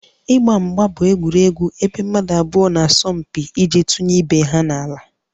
Ịgba mgba bụ egwuregwu ebe mmadụ abụọ na-asọ mpi iji tụnye ibe ha n'ala